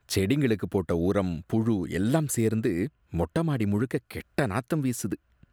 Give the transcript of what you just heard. செடிங்களுக்கு போட்ட உரம், புழு எல்லாம் சேர்ந்து மொட்ட மாடி முழுக்க கெட்ட நாத்தம் வீசுது